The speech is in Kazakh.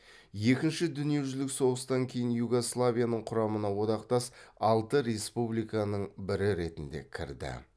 екінші дүниежүзілік соғыстан кейін югославияның құрамына одақтас алты республиканың бірі ретінде кірді